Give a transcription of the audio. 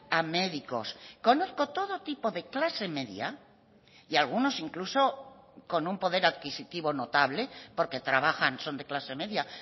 a médicos conozco todo tipo de clase media y algunos incluso con un poder adquisitivo notable porque trabajan son de clase media